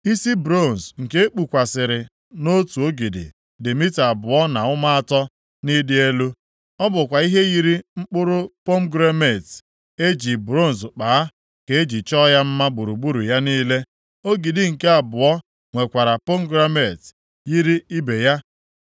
Isi bronz nke e kpụkwasịrị nʼotu ogidi dị mita abụọ na ụma atọ + 52:22 Ya bụ nzọ ụkwụ asaa na ọkara nʼịdị elu. Ọ bụkwa ihe yiri mkpụrụ pomegranet e ji bronz kpaa, ka e ji chọọ ya mma gburugburu ya niile. Ogidi nke abụọ nwekwara pomegranet, yiri ibe ya.